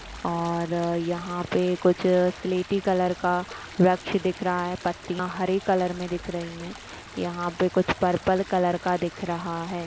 और यहाँ पे कुछ स्लेटी कलर का वृछ दिख रहा है पत्तियाँ हरे कलर में दिख रही हैं यहाँ पर कुछ पर्पल कलर का दिख रहा है।